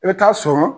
I bɛ taa sɔrɔ